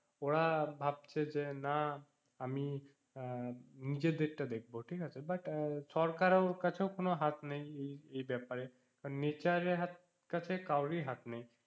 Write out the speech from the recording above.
ওরা ভাবছে যে না আমি আহ নিজের দিকটা দেখব ঠিক আছে but আহ সরকারের কাছেও কোনো হাত নেই এই~ এই~ এই ব্যাপারে nature এর কাছে কাউরের হাত নেই